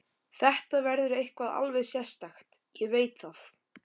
Þetta verður eitthvað alveg sérstakt, ég veit það.